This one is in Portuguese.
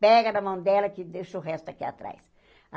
Pega na mão dela que deixa o resto aqui atrás.